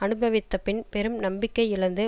அனுபவித்த பின் பெரும் நம்பிக்கை இழந்து